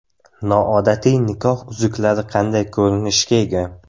Noodatiy nikoh uzuklari qanday ko‘rinishga ega?.